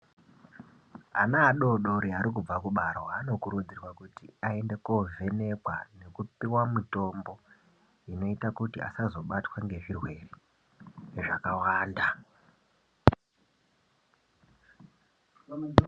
Ana adoodori ari kubva kubarwaa vanokurudzirwaa kuti aende kovhenekwaa vopiwa mutombo unoita kuti asabatwa nezvirwere zvakawanda.